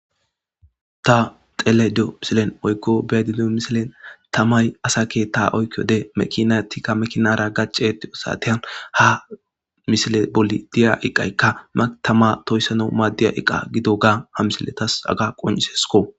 ta xeledo misilen oykko bedido misilen tammay asa keetta oykkiode mekinatikka mekinara gacetti osateyan ha misile boli diya iqayka matama toyssana maaddiya iqa gido ga ha misiletas aga qonisesko